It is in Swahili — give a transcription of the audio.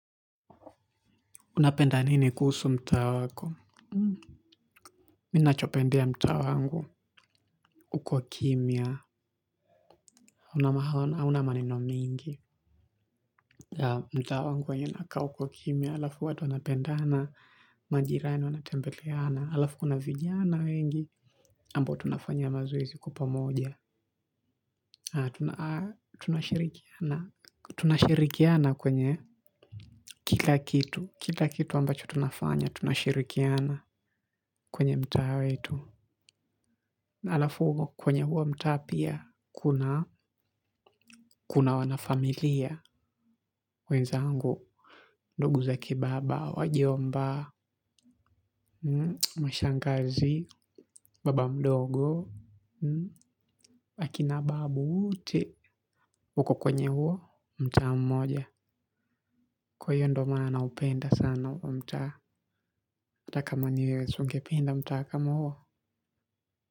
Unapenda nini kuhusu mtaa wako. Mimi nachopendea mtaa wangu uko kimya. Hauna maneno mingi. Mtaa wangu wenye nakaa uko kimya. Alafu watu wanapendana, majirani wanatembeleana. Alafu kuna vijana wengi. Ambo tunafanya mazoezi kwa pamoja. Tunashirikiana. Tunashirikiana kwenye kila kitu. Kila kitu ambacho tunafanya tunashirikiana kwenye mtaa wetu. Alafu kwenye huo mtaa pia kunaa kuna wanafamilia wezangu, ndugu zake baba, wajomba mashangazi, baba mdogo, akina babu. Wote wako kwenye huo mtaa mmoja. Kwa hiyo ndo maana naupenda sana huo mtaa. Hata kama ni wewe si ungependa mtaa kama huo.